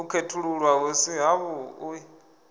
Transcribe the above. u khethululwa hu si havhuḓi